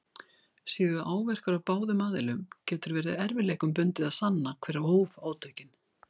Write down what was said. Séu áverkar á báðum aðilum getur verið erfiðleikum bundið að sanna hver hóf átökin.